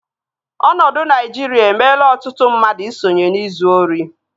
Ọnọdụ Naijiria emela ọtụtụ mmadụ i sonye n'izu ori